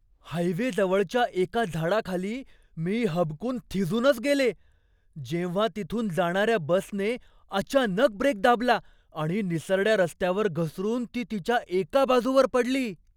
हायवेजवळच्या एका झाडाखाली मी हबकून थिजूनच गेले, जेव्हा तिथून जाणाऱ्या बसने अचानक ब्रेक दाबला आणि निसरड्या रस्त्यावर घसरून ती तिच्या एका बाजूवर पडली.